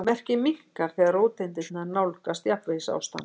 Merkið minnkar þegar róteindirnar nálgast jafnvægisástand.